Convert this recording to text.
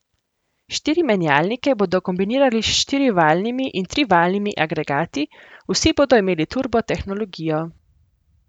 Štiri menjalnike bodo kombinirali s štirivaljnimi in trivaljnimi agregati, vsi bodo imeli turbo tehnologijo.